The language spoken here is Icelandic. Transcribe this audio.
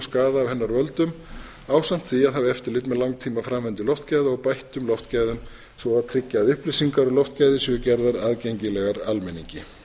hennar völdum ásamt því að hafa eftirlit með langtímaframvindu loftgæða og bættum loftgæðum svo og að tryggja að upplýsingar um loftgæði séu gerðar aðgengilegar almenningi